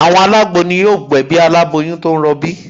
Àwọn alágbo ni yóò gbẹ̀bí aláboyún tó ń rọbí